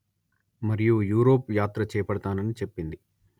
ఇంకా యూరోప్ యాత్ర చేపడతానని చెప్పింది